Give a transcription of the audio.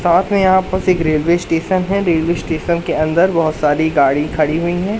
साथ में यहां पास एक रेल्वे स्टेशन है रेल्वे स्टेशन के अंदर बहोत सारी गाड़ी खड़ी हुई है।